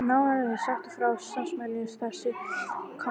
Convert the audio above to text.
Nánar er sagt frá starfseminni þar síðar í þessum kafla.